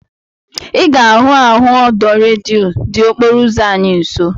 Ị ga-ahụ ahụ ọdọ redio dị okporo ụzọ anyị nsọ